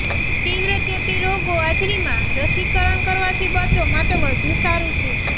તીવ્ર ચેપી રોગો હાજરીમાં રસીકરણ કરવાથી બચો માટે વધુ સારું છે